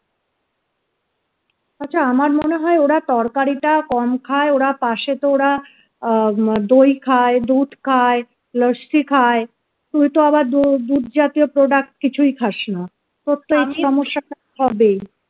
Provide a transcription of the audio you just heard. আচ্ছা আমার মনে হয় ওরা তরকারিটা কম খায় ওরা পাশে তো ওরা দই খায় দুধ খায় লস্যি খায় তুই তো আবার দুধ জাতীয় product কিছুই খাস না তোর তো সমস্যা টা হবেই